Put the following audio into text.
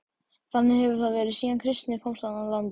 Þannig hefur það verið síðan kristni komst í landið.